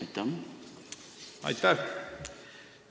Aitäh!